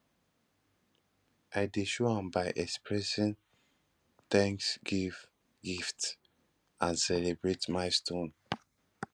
i dey show am by expressing thanks give gifts and celebrate milestones